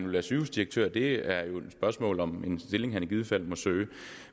være sygehusdirektør er det jo et spørgsmål om er en stilling han i givet fald må søge